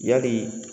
Yali